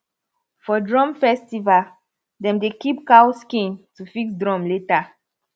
for drum festival dem dey keep cow skin to fix drum later